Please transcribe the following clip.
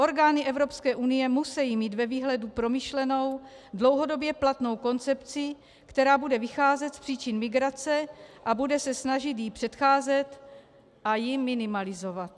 Orgány EU musejí mít ve výhledu promyšlenou, dlouhodobě platnou koncepci, která bude vycházet z příčin migrace a bude se snažit jí předcházet a ji minimalizovat.